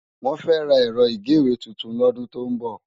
Wòn fè rá èrò igéwé tútún lòdún tó n bò